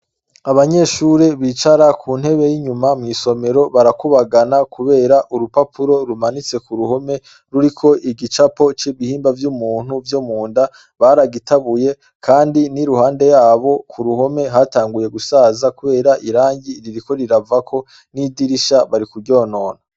Abanyeshuri bicara ku ntebe yinyuma mw'isomero barakubagana kubera urupapuro rumanitse kuruhome ruriko igicapo c'ibihimba vy'umuntu vyo munda baragitabuye kandi niruhande yabo kuruhome hatanguye gusaza kubera irangi ririko riravako n'idirisha bari kuryonona.